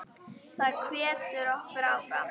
Það hvetur okkur áfram.